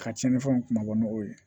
Ka tiɲɛnifɛnw kun ma bɔ n'o ye